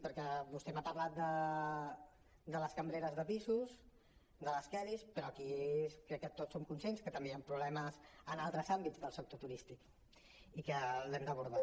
perquè vostè m’ha parlat de les cambreres de pisos de les kellys però aquí crec que tots som conscients que també hi han problemes en altres àmbits del sector turístic i que ho hem d’abordar